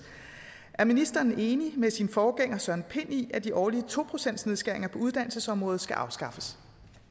er ministeren enig med sin forgænger søren pind i at de årlige to procentsnedskæringer på uddannelsesområdet skal afskaffes